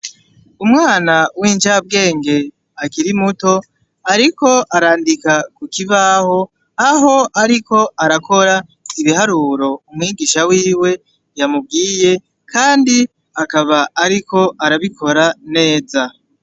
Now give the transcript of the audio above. Umwana w'injabwenge akiri muto, ariko arandika ku kibaho aho ariko arakora ibiharuro umwigisha wiwe yamubwiye kandi akaba ariko arabikora neza.